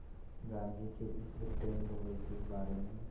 गांधी के इस ब्रिटेन दौरे के बारे में